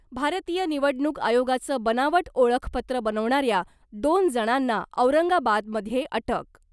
भारतीय निवडणूक आयोगाचं बनावट ओळखपत्र बनवणाऱ्या दोन जणांना औरंगाबादमध्ये अटक .